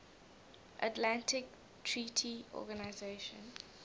atlantic treaty organisation